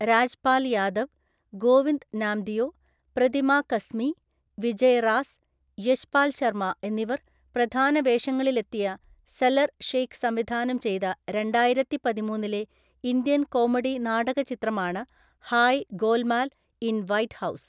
രാജ്പാൽ യാദവ്, ഗോവിന്ദ് നാംദിയോ, പ്രതിമാ കസ്മി, വിജയ് റാസ്, യശ്പാൽ ശർമ എന്നിവർ പ്രധാന വേഷങ്ങളിലെത്തിയ സലർ ഷെയ്ഖ് സംവിധാനം ചെയ്ത രണ്ടായിരത്തിപ്പതിമൂന്നിലെ ഇന്ത്യൻ കോമഡി നാടക ചിത്രമാണ് Hai Golmaal in White house.